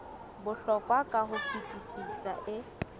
bohlokwa ka ho fetisisa e